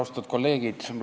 Austatud kolleegid!